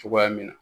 Cogoya min na